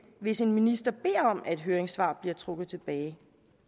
hvis en minister beder om at et høringssvar bliver trukket tilbage